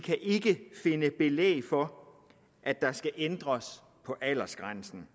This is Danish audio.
ikke kan finde belæg for at der skal ændres på aldersgrænsen